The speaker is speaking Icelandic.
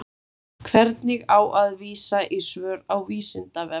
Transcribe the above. Hvernig á að vísa í svör á Vísindavefnum?